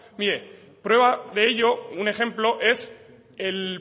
mire prueba de ello un ejemplo es el